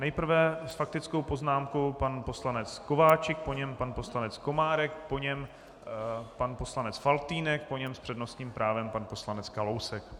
Nejprve s faktickou poznámkou pan poslanec Kováčik, po něm pan poslanec Komárek, po něm pan poslanec Faltýnek, po něm s přednostním právem pan poslanec Kalousek.